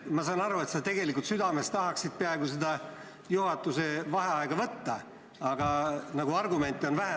Ma saan aru, et tegelikult sa südames peaaegu tahaksid seda juhatuse vaheaega võtta, aga argumente on nagu vähe.